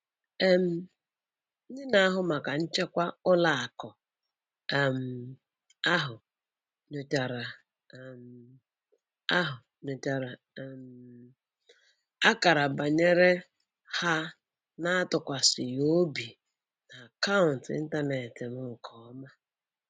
um Ndị na-ahụ maka nchekwa n'ụlọakụ um ahụ nyochara um ahụ nyochara um akara nbanye ha na-atụkwasịghị obi n'akaụntụ ịntaneetị m nke ọma